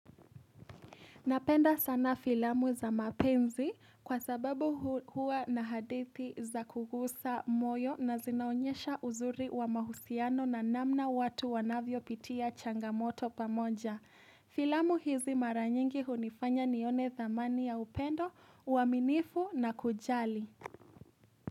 Napenda sana filamu za mapenzi kwa sababu huwa na hadithi za kugusa moyo na zinaonyesha uzuri wa mahusiano na namna watu wanavyopitia changamoto pamoja. Filamu hizi mara nyingi hunifanya nione dhamani ya upendo, uaminifu na kujali.